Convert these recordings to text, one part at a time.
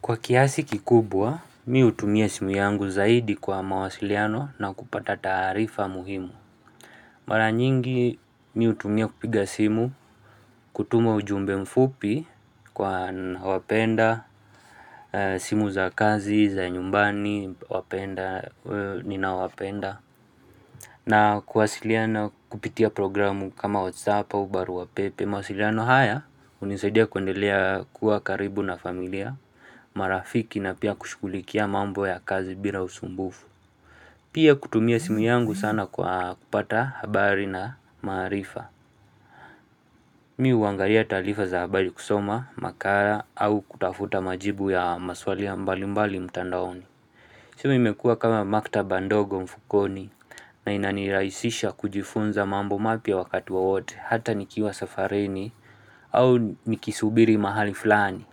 Kwa kiasi kikubwa, mimi huutumia simu yangu zaidi kwa mawasiliano na kupata taarifa muhimu. Mara nyingi, mimi hutumia kupiga simu, kutuma ujumbe mfupi kwa ninao wapenda, simu za kazi, za nyumbani, wapenda, ninao wapenda. Na kuwasiliana nao kupitia programu kama whatsapp au barua pepe mawasiliano haya hunisadia kundelea kuwa karibu na familia, marafiki na pia kushughulikia mambo ya kazi bila usumbufu. Pia kutumia simu yangu sana kwa kupata habari na maarifa. Mimi huangalia taarifa za habari kusoma, makala au kutafuta majibu ya maswali mbali mbali mtandaoni. Simu imekua kama maktaba ndogo mfukoni na inanirahisisha kujifunza mambo mapya wakati wowote hata nikiwa safarini au nikisubiri mahali fulani.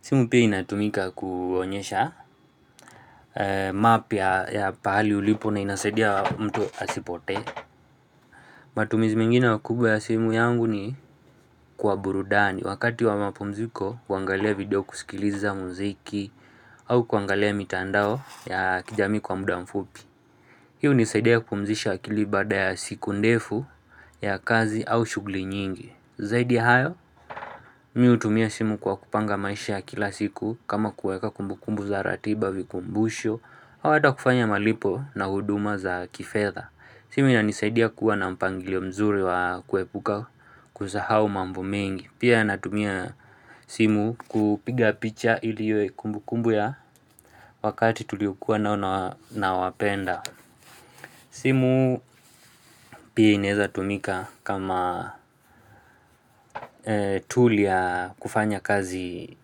Simu pia inatumika kuonyesha mapya ya pahali ulipo na inasaidia mtu asipotee. Matumizi mengine makubwa ya simu yangu ni kwa burudani wakati wa mapumziko kuangalia video kusikiliza muziki au kuangalia mitandao ya kijamii kwa muda mfupi. Hii hunisaidia kupumzisha akili baada ya siku ndefu ya kazi au shughuli nyingi Zaidi ya hayo, mimi hutumia simu kwa kupanga maisha ya kila siku kama kuweka kumbukumbu za ratiba vikumbusho ama hata kufanya malipo na huduma za kifedha simu inanisaidia kuwa na mpangilio mzuri wa kuepuka kusahau mambo mengi Pia natumia simu kupiga picha ili iwe kumbukumbu ya wakati tuliokua na wapenda simu pia inaweza tumika kama tool ya kufanya kazi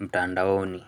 mtandaoni.